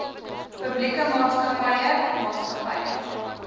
publieke maatskappye maatskappye